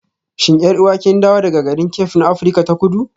Shin 'yar'uwa kin dawo daga garin Cape na Afirka ta Kudu?